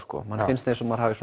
manni finnst eins og maður hafi